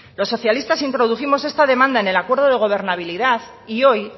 los socialistas introdujimos esta demanda en el acuerdo de gobernabilidad y hoy